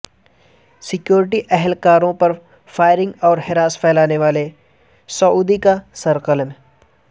security اہلکاروں پر firing اور ہراس پھیلانے والے سعودی کا سر قلم